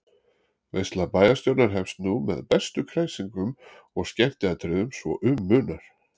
Veisla bæjarstjórnar hefst nú með bestu kræsingum og skemmtiatriðum svo um munar.